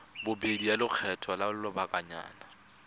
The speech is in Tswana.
bobedi ya lekgetho la lobakanyana